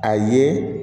A ye